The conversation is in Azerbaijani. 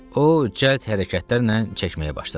O cəld hərəkətlərlə çəkməyə başladı.